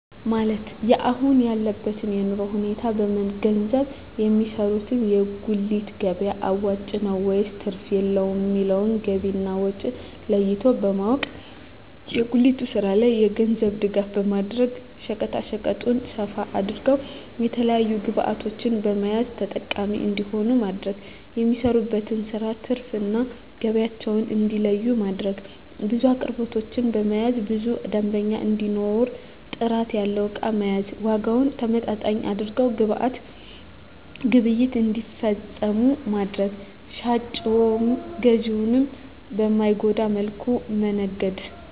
ማለት የአሁን ያለበትን የኑሮ ሁኔታ በመንገዘብ የሚሰሩት የጉሊት ገቢያ አዋጭ ነው ወይስ ትርፍ የለውም የሚለውን ገቢና ወጫቸውን ለይቶ በማወቅ። የጉሊቱን ስራ የገንዘብ ድጋፍ በማድረግ ሸቀጣሸቀጡን ሰፋ አድርገው የተለያዪ ግብዕቶችን በመያዝ ተጠቃሚ እንዲሆኑ ማድረግ። የሚሰሩበትን ስራ ትርፍ እና ገቢያቸውን እንዲለዪ ማድረግ። ብዙ አቅርቦቶችን በመያዝ ብዙ ደንበኛ እንዲኖር ጥራት ያለው እቃ መያዝ። ዋጋውን ተመጣጣኝ አድርገው ግብይት እንዲፈፅሙ ማድረግ። ሻጭንም ገዢንም በማይጎዳ መልኩ መነገድ